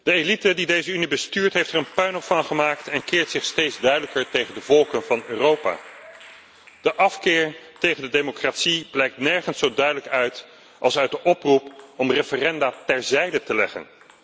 De elite die deze Unie bestuurt heeft er een puinhoop van gemaakt en keert zich steeds duidelijker tegen de volkeren van Europa. De afkeer tegen de democratie blijkt nergens zo duidelijk uit als uit de oproep om referenda terzijde te leggen.